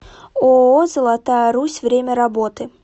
ооо золотая русь время работы